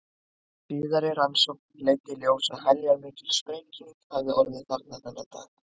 Síðari rannsókn leiddi í ljós að heljarmikil sprenging hafði orðið þarna þennan dag.